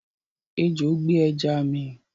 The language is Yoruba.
Ejò gbé ẹja mi